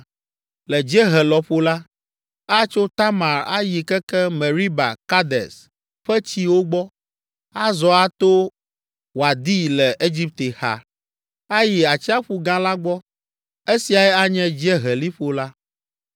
Le dziehe lɔƒo la, atso Tamar ayi keke Meriba Kades ƒe tsiwo gbɔ, azɔ ato Wadi le Egipte xa, ayi Atsiaƒu Gã la gbɔ. Esiae anye Dzieheliƒo la.